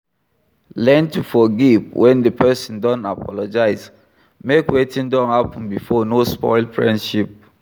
Learn to forgive when di person don apologize make wetin don happen before no spoil friendship